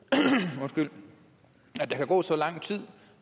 at der kan gå så lang tid